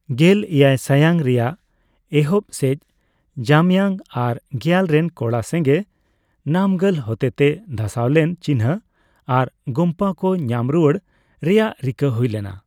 ᱜᱮᱞᱼᱮᱭᱟᱭ ᱥᱟᱭᱟᱝ ᱨᱮᱭᱟᱜ ᱮᱦᱚᱵ ᱥᱮᱡ ᱡᱟᱢᱭᱟᱝ ᱟᱨ ᱜᱮᱭᱟᱞ ᱨᱮᱱ ᱠᱚᱲᱟ ᱥᱮᱝᱜᱮ ᱱᱟᱢᱜᱟᱞ ᱦᱚᱛᱮᱛᱮ ᱫᱷᱟᱥᱟᱣ ᱞᱮᱱ ᱪᱤᱱᱦᱟᱹ ᱟᱨ ᱜᱳᱢᱯᱟ ᱠᱚ ᱧᱟᱢ ᱨᱩᱣᱟᱹᱲ ᱨᱮᱭᱟᱜ ᱨᱤᱠᱟᱹ ᱦᱩᱭ ᱞᱮᱱᱟ ᱾